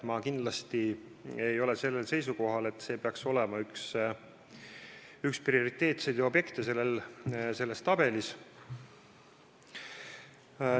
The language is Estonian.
Ma ei ole kindlasti seisukohal, et see peaks olema üks prioriteetseid objekte selles tabelis.